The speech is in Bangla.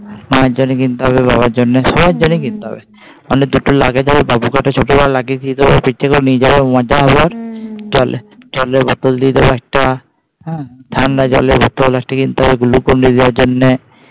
মায়ের জন্যে কিনতে হবে, বাবার জন্যে, সবার জন্যে কিনতে হবে মানে যেটা লাগে তবে বাবুকে একটা ছোট করে দিয়ে দেবো, পিঠে করে নিয়ে যাবে মজা হবে জলে জলের বোতল দিয়ে দেবো একটা হ্যাঁ. ঠান্ডা জলের bottle একটা কিনতে হবে নিয়ে যাওয়ার জন্যে।